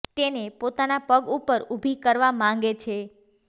તેને પોતાના પગ ઉપર ઉભી કરવા માંગે છે